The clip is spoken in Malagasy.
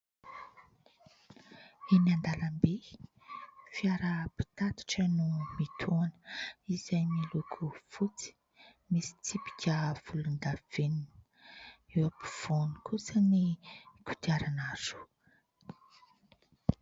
Eny an-dalambe, fiara mpitatitra no mitohana, izay miloko fotsy, misy tsipika volondavenona. Eo ampovoany kosany kodiarana roa.